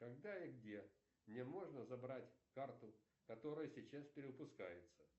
когда и где мне можно забрать карту которая сейчас перевыпускается